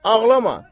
Ağlama.